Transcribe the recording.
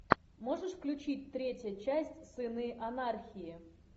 можешь включить третья часть сыны анархии